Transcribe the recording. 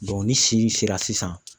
ni si nin sera sisan.